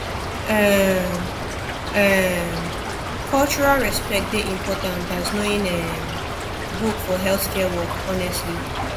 um um cultural respect dey important as knowing um book for healthcare work honestly